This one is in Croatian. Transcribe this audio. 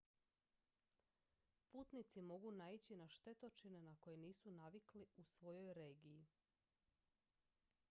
putnici mogu naići na štetočine na koje nisu navikli u svojoj regiji